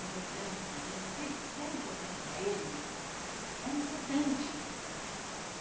importante para mim, e se ele se era importante para ele, era importante, né?